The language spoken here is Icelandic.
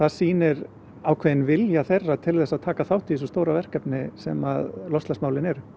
sýnir ákveðinn vilja þeirra til þess að taka þátt í þessu stóra verkefni sem loftslagsmálin eru